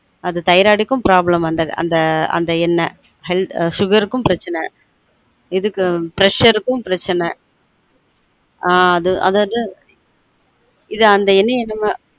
அது thyrroid க்கும் problem பண்றது அந்த எண்ணெய் healthsugar க்கும் பிரச்ச்னை இதுக்கும் pressure க்கும் ப்ரச்சன ஆன் அது அத இது அந்த எண்ணெய நம்ம